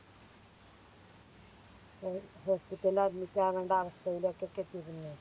Hospital ല് Admit ആവണ്ട അവസ്ഥയിലേക്കൊക്കെ എത്തിന് ഞാൻ